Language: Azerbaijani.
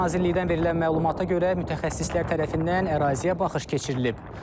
Nazirlikdən verilən məlumata görə mütəxəssislər tərəfindən əraziyə baxış keçirilib.